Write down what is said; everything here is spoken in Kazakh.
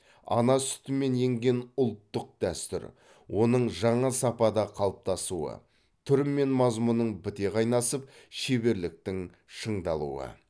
ана сүтімен енген ұлттық дәстүр оның жаңа сапада қалыптасуы түр мен мазмұнның біте қайнасып шеберліктің шыңдалуы